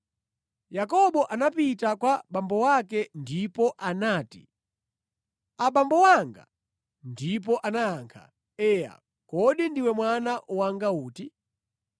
Yakobo anapita kwa abambo ake ndipo anati, “Abambo anga.” Ndipo anayankha, “Eya, kodi ndiwe mwana wanga uti?”